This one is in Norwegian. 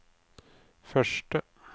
første